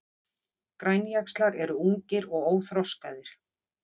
Grænjaxlar eru ungir og óþroskaðir.